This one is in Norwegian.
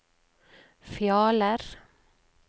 Fjaler